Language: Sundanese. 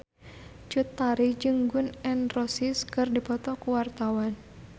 Cut Tari jeung Gun N Roses keur dipoto ku wartawan